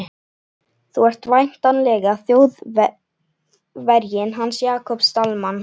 Þú ert væntanlega Þjóðverjinn hans Jakobs Dalmann.